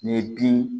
N'i ye bin